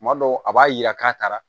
Tuma dɔw a b'a yira k'a taara